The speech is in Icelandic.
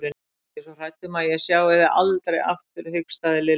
Ég er svo hrædd um að ég sjái þau aldrei aftur hikstaði Lilla.